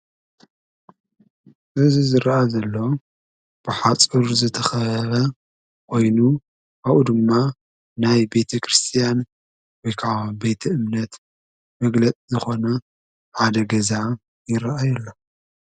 እዝ ዝረአ ዘሎ ብሓጽር ዘተኸበ ኦይኑ ኣብኡ ድማ ናይ ቤተ ክርስቲያን ወከዓ ቤተ እምነት መግለጥ ዝኾነ ዓደ ገዛ ይረአይ ኣሎ።